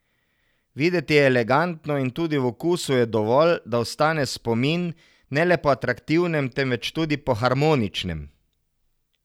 Videti je elegantno in tudi v okusu je dovolj, da ostane spomin, ne le po atraktivnem, temveč tudi po harmoničnem.